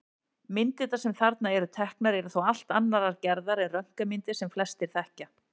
Myndirnar sem þarna eru teknar eru þó allt annarrar gerðar en röntgenmyndir sem flestir þekkja.